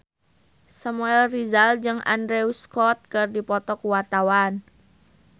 Samuel Rizal jeung Andrew Scott keur dipoto ku wartawan